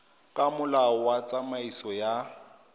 ka molao wa tsamaiso ya